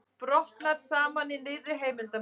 Brotnar saman í nýrri heimildarmynd